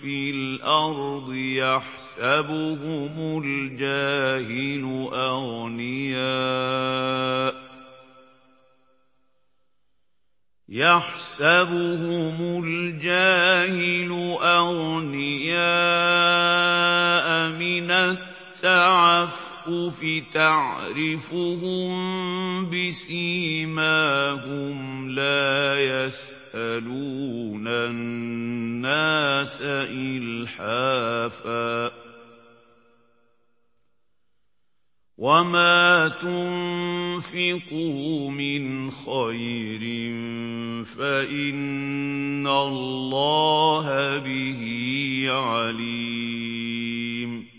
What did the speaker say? فِي الْأَرْضِ يَحْسَبُهُمُ الْجَاهِلُ أَغْنِيَاءَ مِنَ التَّعَفُّفِ تَعْرِفُهُم بِسِيمَاهُمْ لَا يَسْأَلُونَ النَّاسَ إِلْحَافًا ۗ وَمَا تُنفِقُوا مِنْ خَيْرٍ فَإِنَّ اللَّهَ بِهِ عَلِيمٌ